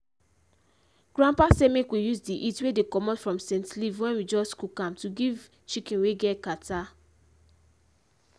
grandpa say make we use the heat wey dey commot from scent leaf wen we just cook am to take give chicken wey get kata.